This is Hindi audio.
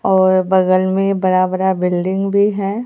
और बगल में बड़ा बड़ा बिल्डिंग भी है।